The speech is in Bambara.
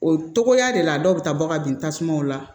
O togoya de la dɔw be taa bɔ ka bin tasumaw la